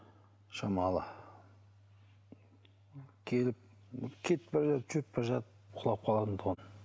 шамалы келіп кетіп бара жатып жүріп бара жатып құлап қалатын тұғын